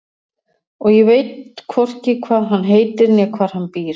Og ég veit hvorki hvað hann heitir né hvar hann býr.